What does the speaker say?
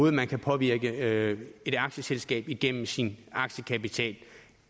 at man kan påvirke et aktieselskab på igennem sin aktiekapital